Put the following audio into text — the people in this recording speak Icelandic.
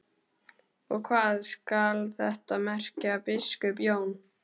Og hvað skal þetta merkja, biskup Jón?